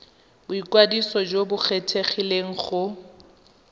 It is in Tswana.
boikwadiso jo bo kgethegileng go